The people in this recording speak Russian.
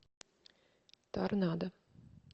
торнадо